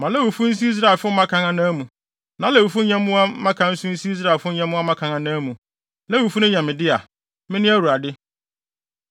“Ma Lewifo nsi Israelfo mmakan anan mu. Na Lewifo nyɛmmoa mmakan nso nsi Israelfo nyɛmmoa mmakan anan mu. Lewifo yɛ me dea. Mene Awurade.